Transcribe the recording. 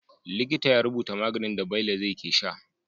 Likita ya rubuta maganin da Bello zai ke sha